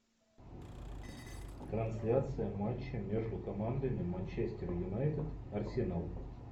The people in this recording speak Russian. трансляция матча между командами манчестер юнайтед арсенал